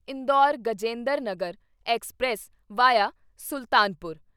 Indore Rajendranagar express via Sultanpur